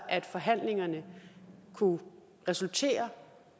at forhandlingerne kunne resultere